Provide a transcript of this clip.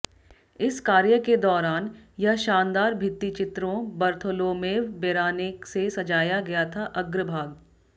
इस कार्य के दौरान यह शानदार भित्तिचित्रों बर्थोलोमेव बेरानेक से सजाया गया था अग्रभाग